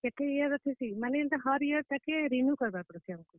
କେତେ year ଥିସି, ମାନେ हर year ତାକେ renew କର୍ ବା କେ ପଡ୍ ସି ତାକେ ଆମକୁ।